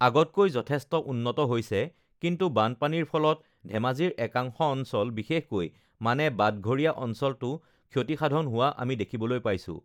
আগতকৈ যথেষ্ট উন্নত হৈছে কিন্তু বানপানীৰ ফলত ধেমাজিৰ একাংশ অঞ্চল বিশেষকৈ মানে বাটঘৰীয়া অঞ্চলটো ক্ষতি-সাধন হোৱা আমি দেখিবলৈ পাইছোঁ